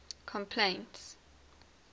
complaints